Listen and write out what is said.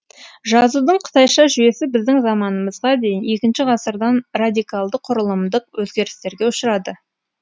жазудың қытайша жүйесі біздің заманымызға дейін екінші ғасырдан радикалды құрылымдық өзгерістерге ұшырады